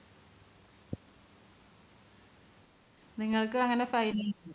നിങ്ങൾക്ക് അങ്ങനെ fine